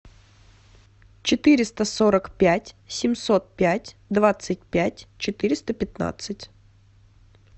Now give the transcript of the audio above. четыреста сорок пять семьсот пять двадцать пять четыреста пятнадцать